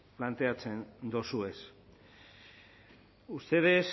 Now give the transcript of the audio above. planteatzen dozuez ustedes